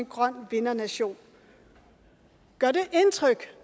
grøn vindernation gør det indtryk